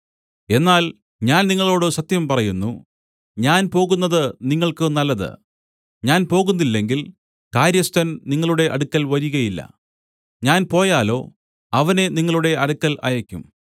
എന്നാൽ ഞാൻ നിങ്ങളോടു സത്യം പറയുന്നു ഞാൻ പോകുന്നത് നിങ്ങൾക്ക് നല്ലത് ഞാൻ പോകുന്നില്ലെങ്കിൽ കാര്യസ്ഥൻ നിങ്ങളുടെ അടുക്കൽ വരികയില്ല ഞാൻ പോയാലോ അവനെ നിങ്ങളുടെ അടുക്കൽ അയയ്ക്കും